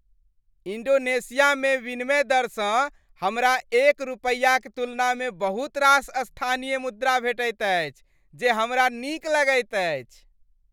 इन्डोनेशियामे विनिमय दरसँ हमरा एक रुपयाक तुलनामे बहुत रास स्थानीय मुद्रा भेटैत अछि जे हमरा नीक लगैत अछि।